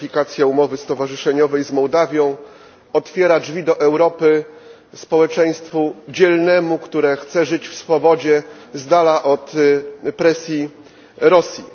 Ratyfikacja umowy stowarzyszeniowej z Mołdawią otwiera drzwi do Europy społeczeństwu dzielnemu, które chce żyć w swobodzie, z dala od presji Rosji.